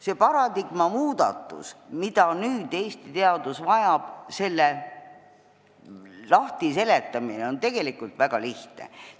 Seda paradigma muudatust, mida Eesti teadus nüüd vajab, on tegelikult väga lihtne lahti seletada.